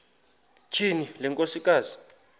tyhini le nkosikazi